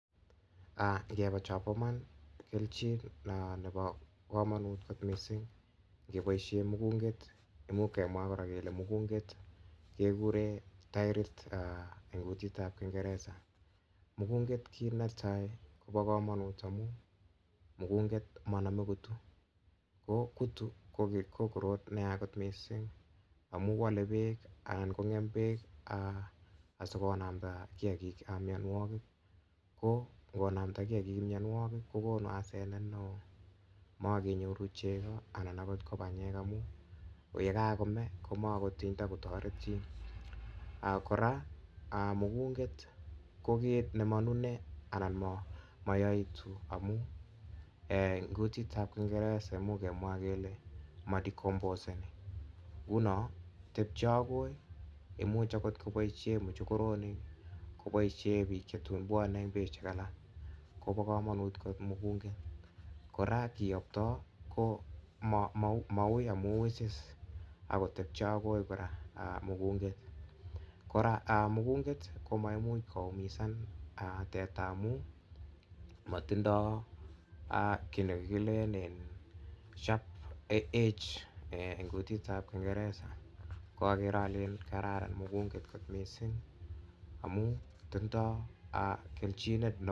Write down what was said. um ingebee chon bo iman mugung'etkoba kamanut missing ingeboisien mugunget , imuch kemwa kora kele mugunget kekuren taerit en kutitab kingereza mugunget kit netai kobo kamanut amun mugunget komaname kitu ko kutu ko korot neya missing, amu wale bek anan kong'em bek asiko namda kiagik miannuagik , ko ingonamda kiagik mianogig kokonu asenet neo magenyoru che cheo anan akot ko panyek amuun yekakome komakot kotaret chi kora ko ket nemanune anan ma yaitu amuun en kutitab kingereza koimuch kemwa kele ma decompose union tebie akoi imuche kot kobaishien mochokoronik kobaisien en betusiek chun bwane alak. Ko ba kamanut kot mugunget kora maui amun weche akotebche Ako kora mugunget kora mugunget komaimuch koumizan teta amuun matindo kit nekilenen sharp edge en kutitab kingereza akere alen kararan kot mugunget kot missing amuun tindoo kelchin neo.